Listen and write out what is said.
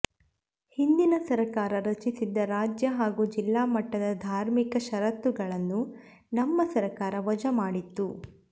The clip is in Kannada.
ಹಿಂದಿನ ಸರಕಾರ ರಚಿಸಿದ್ದ ರಾಜ್ಯ ಹಾಗೂ ಜಿಲ್ಲಾಮಟ್ಟದ ಧಾರ್ಮಿಕ ಪರಿಷತ್ಗಳನ್ನು ನಮ್ಮ ಸರಕಾರ ವಜಾ ಮಾಡಿತ್ತು